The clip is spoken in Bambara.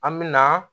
An me na